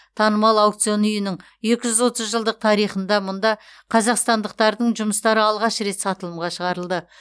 танымал аукцион үйінің екі жүз отыз жылдық тарихында мұнда қазақстандықтардың жұмыстары алғаш рет сатылымға шығарылды